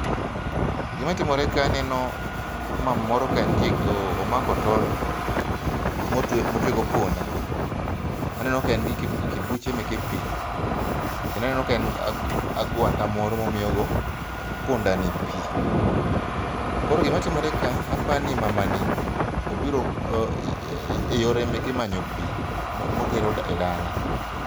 Gima timore ka aneno mama moro ka entie omako tol motwe, motwe go punda. Aneno ka en gi kibuchemeke pii kendo aneno ka en gi agwata moro momiyo go punda pii. Koro gima timore ka apani mama ni obiro e yor emeke mar manyo pii motero e dala